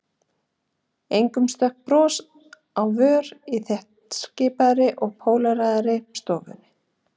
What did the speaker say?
Engum stökk bros á vör í þéttskipaðri og póleraðri stofunni.